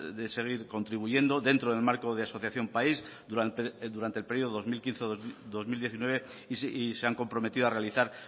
de seguir contribuyendo dentro del marco de asociación país durante el periodo dos mil quince dos mil diecinueve y se han comprometido a realizar